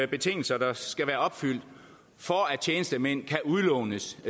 betingelser der skal være opfyldt for at tjenestemænd kan udlånes